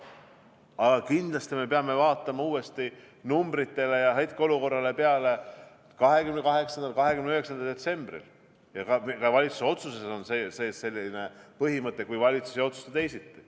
Aga kindlasti me peame vaatama numbreid ja hetkeolukorda uuesti 28. ja 29. detsembril, ja ka valitsuse otsuses on selline põhimõte: kui valitsus ei otsusta teisiti.